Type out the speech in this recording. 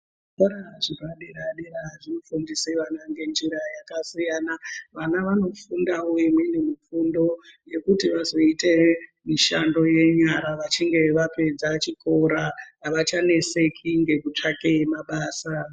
Zvikoro zveoa dera dera zvinofundise vana ngenjira yakasiyana vana vanofundawo imweni mifundo yekuti vazoite mishando yenyara vechinge vapedza chikora avachanetseki ngokutsvake mabasa.